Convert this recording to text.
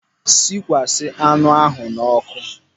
Sikwasa anụ ahụ n'ọkụ.